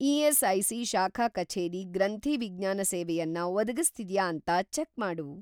ESIC. ಶಾಖಾ ಕಚೇರಿ ಗ್ರಂಥಿ ವಿಜ್ಞಾನ ಸೇವೆಯನ್ನ ಒದಗಿಸ್ತಿದ್ಯಾ ಅಂತ ಚೆಕ್‌ ಮಾಡು.